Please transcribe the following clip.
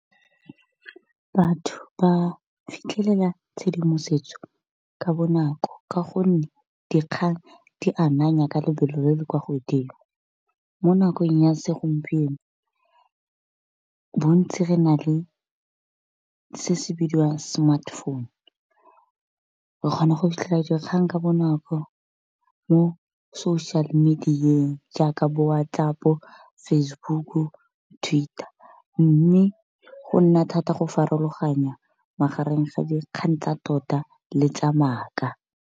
Batho ba fitlhelela tshedimosetso ka bonako ka gonne dikgang di ananya ka lebelo le le kwa godimo. Mo nakong ya segompieno bontsi re na le se se bidiwang smartphone re kgona go fitlhela dikgang ka bonako mo social media-eng jaaka bo WhatsApp, Facebook, Twitter. Mme go nna thata go farologanya magareng ga dikgang tsa tota le tsa maaka.